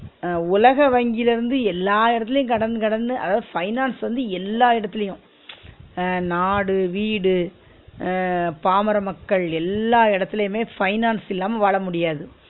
அஹ் உலக வங்கில இருந்து எல்லா இடத்திலயு கடன் கடன்னு அதாவது finance சு வந்து எல்லா இடத்துலயு நாடு வீடு அஹ் பாமர மக்கள் எல்லா இடத்துலயுமே finance இல்லாம வாழ முடியாது